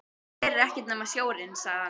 Hér er ekkert nema sjórinn, sagði hann.